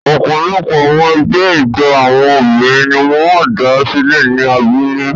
Ọ̀pọ̀lọpọ̀ àwọn ẹgbẹ́ ijó àwọn obìnrin ni wọ́n dá sílẹ̀ ní abúlé.